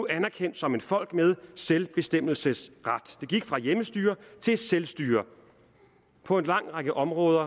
anerkendt som et folk med selvbestemmelsesret de gik fra hjemmestyre til selvstyre på en lang række områder